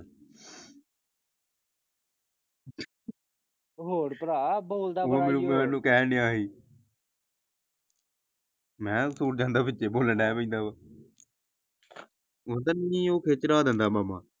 ਹੋਰ ਪਰ ਬੋਲਦਾ ਬੜਾ ਕਹਿਣ ਡੇਆ ਸੀ ਮੈਂ ਕਿਹਾ ਵਿਚੇ ਬੋਲਣ ਡੈ ਪੈਂਦਾ ਵਾ ਉਹ ਖਿੱਜ ਚੜਾ ਦਿੰਦਾ ਮਾਮਾ।